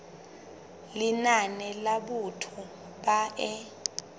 lenane la batho ba e